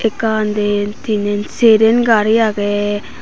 ekkan diyen tinin seraan gari agey.